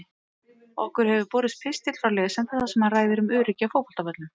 Okkur hefur borist pistill frá lesanda þar sem hann ræðir um öryggi á fótboltavöllum.